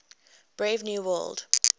brave new world